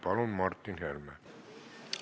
Palun, Martin Helme!